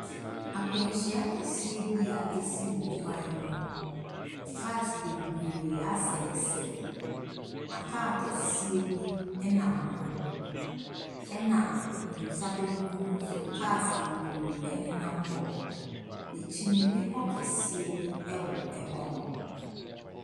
Akwanhyia kɛseɛ bi a ɛsi wɔ kwan mu. Cars bebree asɛesɛe na car kɛseɛ bi ɛnam ho. Ɛna ne nsa benkum nso, cars bebree ɛnenam hɔ. N'akyi no bepɔ kɛseɛ bi wɔ hɔ.